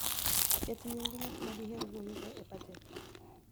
Ket nying' ng'at ma diher wuoyogo e bajet.